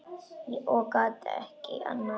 Og get ekki annað.